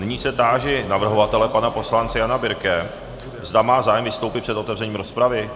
Nyní se táži navrhovatele pana poslance Jana Birke, zda má zájem vystoupit před otevřením rozpravy.